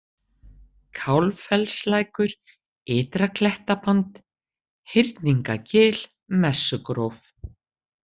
Kálffellslækur, Ytra-Klettaband, Hyrningagil, Messugróf